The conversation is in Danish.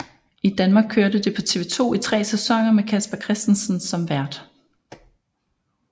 I Danmark kørte det på TV 2 i tre sæsoner med Casper Christensen som vært